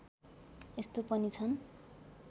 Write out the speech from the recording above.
यस्तो पनि छन्